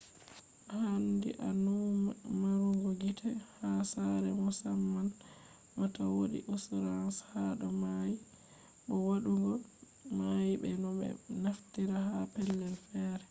haandi a nuuma maarugo gite ha sare mussamam ma ta wodi insurance hado mai bo waddugo mai be no be naftirta ha pellel fere